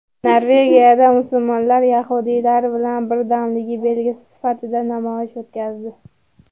Norvegiyada musulmonlar yahudiylar bilan birdamligi belgisi sifatida namoyish o‘tkazdi.